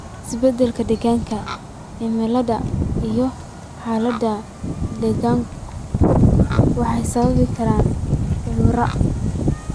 Isbeddellada deegaanka: Cimilada iyo xaaladaha daaqgu waxay sababi karaan cudur.